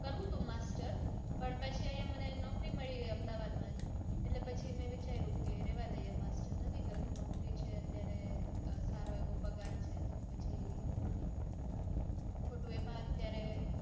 કરવું તું master પણ પછી અહીંયા મને નોકરી મળી ગઈ અમદાવાદમાં જ એટલે પછી મેં વિચાર્યું કે રેવા દઈએ master નથી કરવું નોકરી છે અત્યારે સારો એવો પગાર છે તો પછી ખોટું એમાં અત્યારે